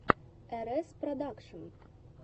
эрэс продакшн